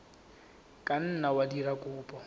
ka nna wa dira kopo